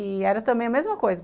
E era também a mesma coisa.